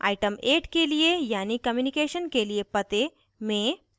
item 8 के लिए यानि communication के लिए पते में